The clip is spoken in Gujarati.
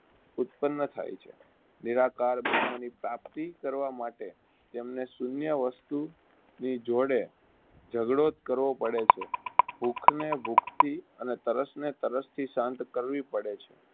ઉત્તન્ન થાય છે. નિરાકાર બ્રહ્મની પ્રાપ્તી કરવા માટે તેમને શૂન્ય વસ્તુની જોડે ઝગડો જ કરવો પડે છે. ભૂખને ભૂખથી અને તરસને તરસથી શાંત કરવી પડે છે